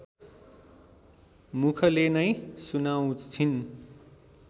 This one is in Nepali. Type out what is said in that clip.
मुखले नै सुनाउँछिन्